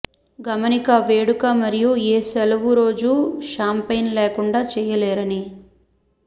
గమనిక వేడుక మరియు ఏ సెలవు రోజు షాంపైన్ లేకుండా చెయ్యలేరని